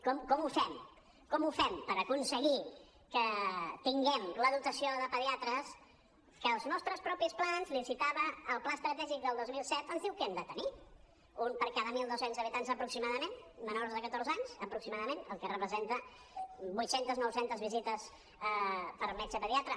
com ho fem com ho fem per aconseguir que tinguem la dotació de pediatres que els nostres propis plans li citava el pla estratègic del dos mil set ens diuen que hem de tenir un per cada mil dos cents habitants aproximadament menors de catorze anys aproximadament el que representa vuit centes nou centes visites per metge pediatre